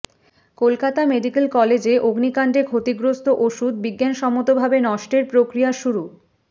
Kolkata medical কলেজে অগ্নিকাণ্ডে ক্ষতিগ্রস্ত ওষুধ বিজ্ঞানসম্মতভাবে নষ্টের প্রক্রিয়া শুরু